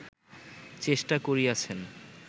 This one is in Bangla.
চেষ্টা করিয়াছেন